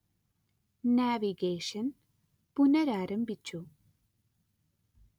navigation പുനരാരംഭിച്ചു